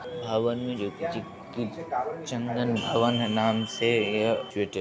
भवन में जो कि चन्दन भवन नाम से यह